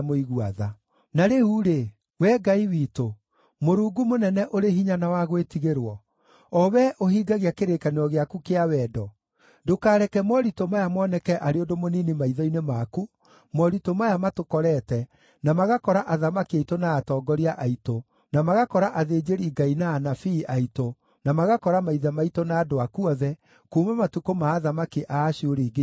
“Na rĩu-rĩ, Wee Ngai witũ, Mũrungu mũnene ũrĩ hinya na wa gwĩtigĩrwo, o wee ũhingagia kĩrĩkanĩro gĩaku kĩa wendo, ndũkareke moritũ maya moneke arĩ ũndũ mũnini maitho-inĩ maku, moritũ maya matũkorete, na magakora athamaki aitũ na atongoria aitũ, na magakora athĩnjĩri-Ngai na anabii aitũ, na magakora maithe maitũ na andũ aku othe, kuuma matukũ ma athamaki a Ashuri nginya ũmũthĩ.